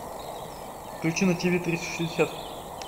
включи на тв триста шестьдесят